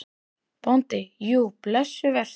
BÓNDI: Jú, blessuð vertu.